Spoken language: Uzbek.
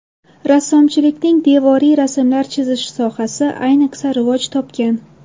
Rassomchilikning devoriy rasmlar chizish sohasi ayniqsa rivoj topgan.